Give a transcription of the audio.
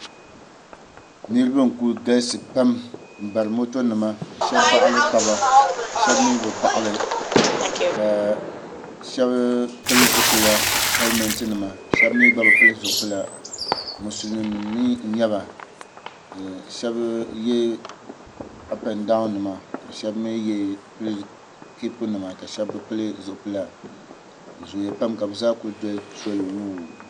Niriba n kuli galisi pam n bari moto nima ka shɛba baɣili taba shɛba mi bi baɣili shɛba pili zipila helimɛnti nima shɛba mi gba bi pili zipila musilim nim mi n nyaba shɛba yɛ apɛn dawu nima ka shɛba mi pili kapu nima ka shɛba bi pili zipila bi zooya pam ka bi zaa kuli doli soli wuu.